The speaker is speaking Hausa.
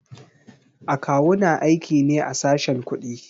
A kawu na aiki ne a sashen kuɗi.